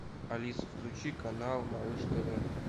алиса включи канал малыш тв